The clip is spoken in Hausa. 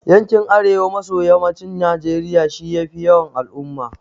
Yankin Arewa maso Yammacin Najeriya shi ya fi yawan al'umma.